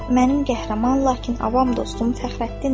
Mənim qəhrəman, lakin avam dostum Fəxrəddindir.